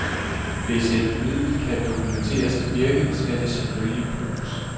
Hvis et middel kan dokumenteres at virke, skal det selvfølgelig bruges.